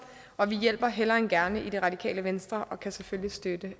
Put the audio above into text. og vi hjælper hellere end gerne i det radikale venstre vi kan selvfølgelig støtte